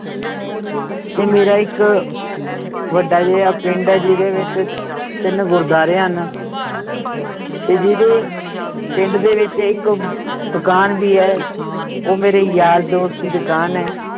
ਤੇ ਮੇਰਾ ਇੱਕ ਵੱਡਾ ਜੇਹਾ ਪਿੰਡ ਹੈ ਜਿਹਦੇ ਵਿਚ ਤਿੰਨ ਗੁਰਦਵਾਰੇ ਹਨ ਤੇ ਜਿਹਦੇ ਪਿੰਡ ਦੇ ਵਿਚ ਇਕ ਦੁਕਾਨ ਵੀ ਹੈ ਉਹ ਮੇਰੇ ਯਾਰ ਦੋਸਤ ਦੀ ਦੁਕਾਨ ਹੈ l